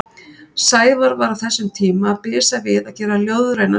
Sævar var á þessum tíma að bisa við að gera ljóðræna stuttmynd.